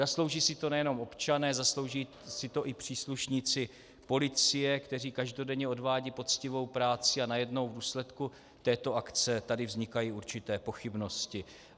Zaslouží si to nejenom občané, zaslouží si to i příslušníci policie, kteří každodenně odvádějí poctivou práci, a najednou v důsledku této akce tady vznikají určité pochybnosti.